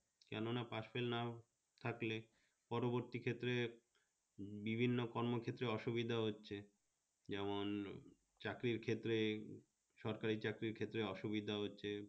কেননা pass-fail না থাকলে পরবর্তী ক্ষেত্রে বিভিন্ন কর্ম ক্ষেত্রে অসুবিধা হচ্ছে, যেমন চাকরির ক্ষেত্রে সরকারি চাকরির ক্ষেত্রে অসুবিধা হচ্ছে